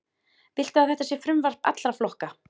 Viltu að þetta sé frumvarp allra flokka?